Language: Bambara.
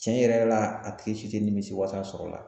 Tiɲɛ yɛrɛ yɛrɛ la a tigi si tɛ nimisiwasa sɔrɔ a la